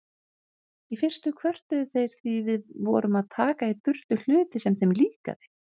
Í fyrstu kvörtuðu þeir því við vorum að taka í burtu hluti sem þeim líkaði.